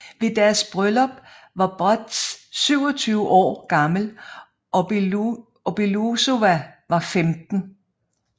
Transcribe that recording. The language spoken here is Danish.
Ved deres bryllup var Broz 27 år gammel og Belousova var 15